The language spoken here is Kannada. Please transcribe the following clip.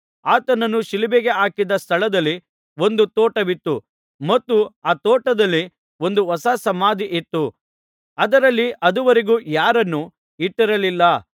ಆತನನ್ನು ಶಿಲುಬೆಗೆ ಹಾಕಿದ ಸ್ಥಳದಲ್ಲಿ ಒಂದು ತೋಟವಿತ್ತು ಮತ್ತು ಆ ತೋಟದಲ್ಲಿ ಒಂದು ಹೊಸ ಸಮಾಧಿ ಇತ್ತು ಅದರಲ್ಲಿ ಅದುವರೆಗೂ ಯಾರನ್ನೂ ಇಟ್ಟಿರಲಿಲ್ಲ